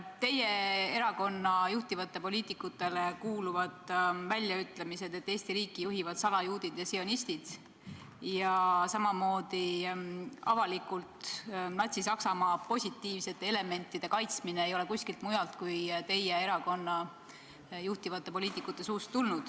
Teie erakonna juhtivatele poliitikutele kuuluvad väljaütlemised, et Eesti riiki juhivad salajuudid ja sionistid, ning avalikult Natsi-Saksamaa positiivsete elementide kaitsmine ei ole samamoodi kõlanud kellegi teise kui teie erakonna juhtivate poliitikute suust.